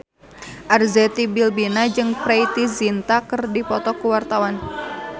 Arzetti Bilbina jeung Preity Zinta keur dipoto ku wartawan